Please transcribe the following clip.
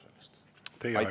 Aitäh!